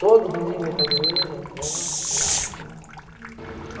Todo domingo eu ia para a igreja, já era hábito. Hurum.